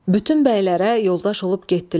Bütün bəylərə yoldaş olub getdilər.